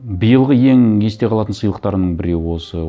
биылғы ең есте қалатын сыйлықтарының біреуі осы